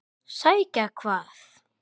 Sækja hvað?